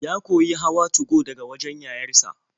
Ya koyi hawa 2go daga wajen yayar sa.